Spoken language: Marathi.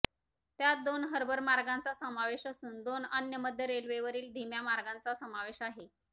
त्यात दोन हार्बर मार्गांचा समावेश असून दोन अन्य मध्य रेल्वेवरील धीम्या मार्गांचा समावेश आहे